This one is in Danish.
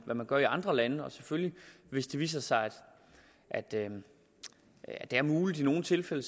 man gør i andre lande og selvfølgelig hvis det viser sig at det er muligt i nogle tilfælde